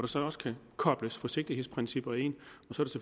så også kan kobles forsigtighedsprincipper ind